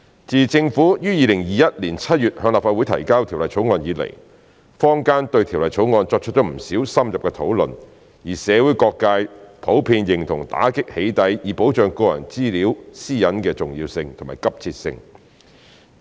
自政府於2021年7月向立法會提交《條例草案》以來，坊間對《條例草案》作出不少深入討論，而社會各界普遍認同打擊"起底"以保障個人資料私隱的重要性和急切性。